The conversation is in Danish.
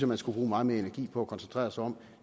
man skulle bruge meget mere energi på at koncentrere sig om